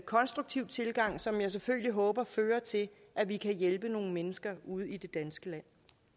konstruktiv tilgang som jeg selvfølgelig håber fører til at vi kan hjælpe nogle mennesker ude i det danske